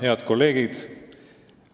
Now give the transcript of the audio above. Head kolleegid!